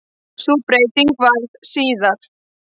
Sú breyting varð síðar.